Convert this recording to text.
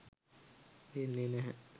වෙන්නේ නැහැ.